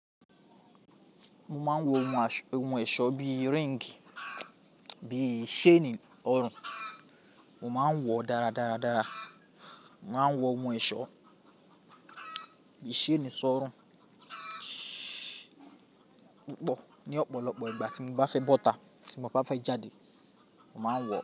Mo máa ń wọ ohun ẹ̀ṣọ́ bí i ring, bí i chain ọrùn, mo máa ń wọ dáradára. Mo máa ń wọ ohun ẹ̀ṣọ́ bí i chain sọ́rùn púpọ̀ ní ọ̀pọ̀lọpọ̀ ìgbà tí mo bá fẹ́ bọ́ta, tí mo bá fẹ́ jáde, mo máa ń wọ̀ ọ́